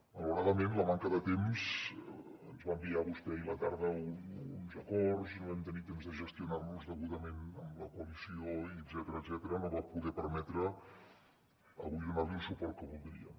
malaurada·ment la manca de temps ens va enviar vostè ahir a la tarda uns acords que no vam tenir temps de gestionar degudament amb la coalició etcètera no va poder perme·tre avui donar·li el suport que voldríem